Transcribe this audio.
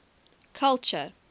culture